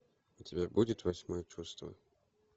у тебя будет восьмое чувство